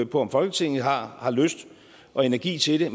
på om folketinget har har lyst og energi til det